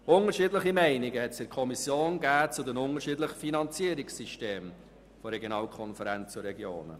Unterschiedliche Meinungen gab es in der Kommission zu den verschiedenen Finanzierungssystemen von Regionalkonferenzen und Regionen.